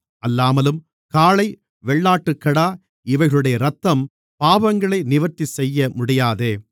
அல்லாமலும் காளை வெள்ளாட்டுக்கடா இவைகளுடைய இரத்தம் பாவங்களை நிவர்த்தி செய்யமுடியாதே